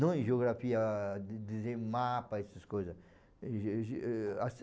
Não em geografia, de dizer mapa, essas coisas. Ge ge